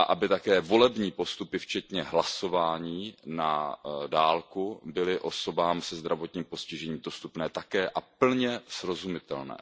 Také volební postupy včetně hlasování na dálku by měly být osobám se zdravotním postižením dostupné a plně srozumitelné.